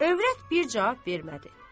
Övrət bir cavab vermədi.